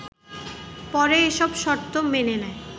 পরে এসব শর্ত মেনে নেয়